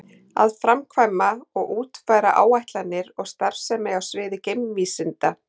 Að framkvæma og útfæra áætlanir og starfsemi á sviði geimvísinda.